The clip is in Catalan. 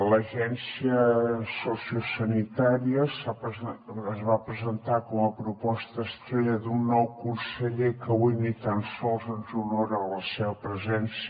l’agència sociosanitària es va presentar com a proposta estrella d’un nou conseller que avui ni tan sols ens honora amb la seva presència